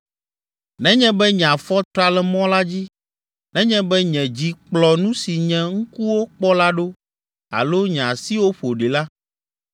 Nenye be nye afɔ tra le mɔ la dzi, nenye be nye dzi kplɔ nu si nye ŋkuwo kpɔ la ɖo alo nye asiwo ƒo ɖi la,